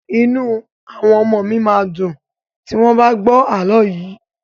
Inú àwọn ọmọọ̀ mi máa dùn tí wọ́n bá gbọ́ àlọ́ yìí.